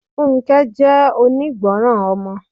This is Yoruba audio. Funke jẹ́ onígbọràn ọmọ.